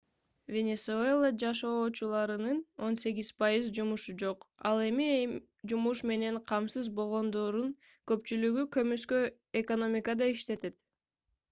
венесуэла жашоочуларынын 18% жумушу жок ал эми жумуш менен камсыз болгондордун көпчүлүгү көмүскө экономикада иштешет